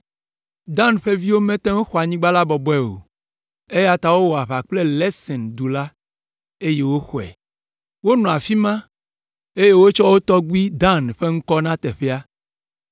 (Dan ƒe viwo mete ŋu xɔ anyigba la bɔbɔe o, eya ta wowɔ aʋa kple Lesen du la, eye woxɔe. Wonɔ afi ma, eye wotsɔ wo tɔgbui Dan ƒe ŋkɔ na teƒea).